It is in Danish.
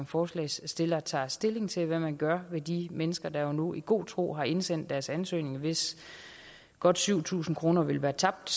forslagsstillerne tager stilling til hvad man gør med de mennesker der nu i god tro har indsendt deres ansøgning og hvis godt syv tusind kroner vil være tabt